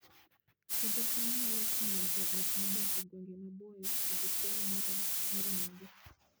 Puodho cham nyalo konyo joot modak e gwenge maboyo yudo chiemo moromogi